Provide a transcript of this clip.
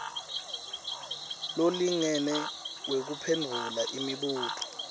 lolingene wekuphendvula umbuto